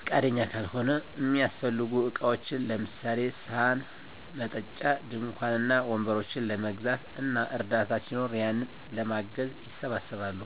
ፍቃደኛ ካልሆነ፣ እሚያሰፈልጉ እቃዎችን ለምሳሌ፦ ሰሀን፣ መጠጫ፣ ድንኳን እና ወንበሮችን ለመግዛት እና እርዳታ ሲኖር ያንን ለማገዝ ይሰባሰባሉ።